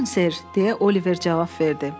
Buyurun sər, deyə Oliver cavab verdi.